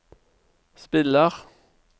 spiller